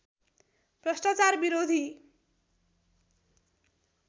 भ्रष्टाचार विरोधी